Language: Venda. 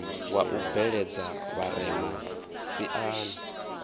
wa u bveledza vharema siani